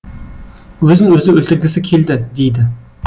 өзін өзі өлтіргісі келді дейді